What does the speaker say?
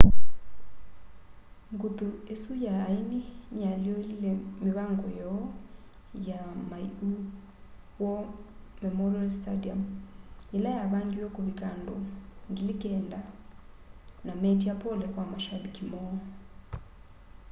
nguthu isu ya aini niyaalyũlile mivango yoo ya maiu war memorial stadium ila yavangiwe kuvika andũ 9,000 na meetya pole kwa mashambiki moo